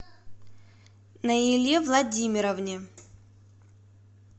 наиле владимировне